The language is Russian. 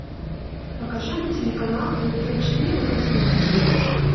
покажи мне телеканал тнт четыре на телевизоре